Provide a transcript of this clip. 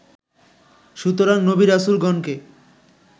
সুতরাং নবী রাসূলগণকে